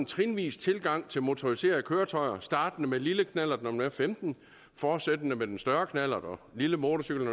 trinvis tilgang til motoriserede køretøjer startende med lille knallert når man er femten fortsættende med den større knallert og lille motorcykel